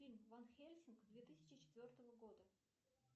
фильм ван хельсинг две тысячи четвертого года